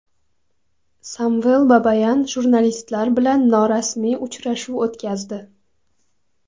Samvel Babayan jurnalistlar bilan norasmiy uchrashuv o‘tkazdi.